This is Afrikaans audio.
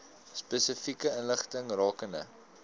spesifieke inligting rakende